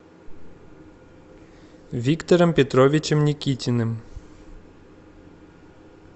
виктором петровичем никитиным